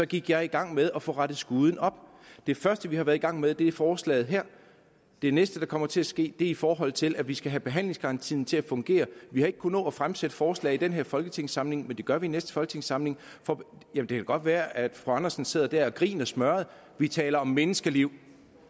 gik jeg i gang med at få rettet skuden op det første vi har været i gang med er forslaget her den næste der kommer til at ske er i forhold til at vi skal have behandlingsgarantien til at fungere vi har ikke kunnet nå at fremsætte forslag i den her folketingssamling men det gør vi i næste folketingssamling det kan godt være at fru andersen sidder der og griner smørret vi taler om menneskeliv